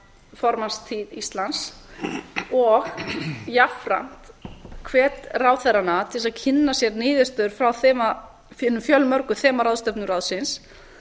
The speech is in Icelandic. formannstíð íslands og jafnframt hvet ráðherrana til þess að kynna sér niðurstöður frá hinum fjölmörgu þemaráðstefnum ráðsins